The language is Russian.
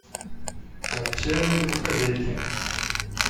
отчаянные домохозяйки